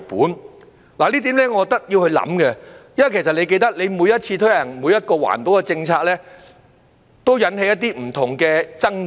我認為這點是需要考慮的，因為你也記得，每次推行一項環保政策時，都會引起一些不同的爭議。